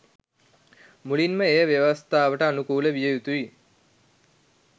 මුලින්ම එය ව්‍යවස්ථාවට අනුකූල විය යුතුයි.